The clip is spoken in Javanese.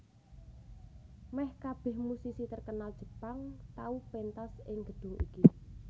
Meh kabeh musisi terkenal Jepang tau pentas ing gedung iki